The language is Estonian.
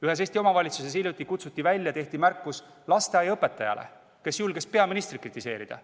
Ühes Eesti omavalitsuses kutsuti hiljuti välja ja tehti märkus lasteaiaõpetajale, kes oli julgenud peaministrit kritiseerida.